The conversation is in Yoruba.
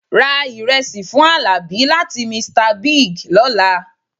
Ra ìrẹsì fún àlàbí láti Mr Bigg lọ́la